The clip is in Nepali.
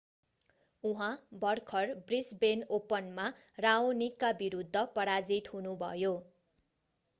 उहाँ भर्खर ब्रिसबेन ओपनमा राओनिकका विरूद्ध पराजित हुनुभयो